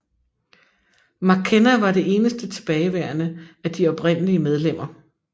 McKenna var det eneste tilbageværende af de oprindelige medlemmer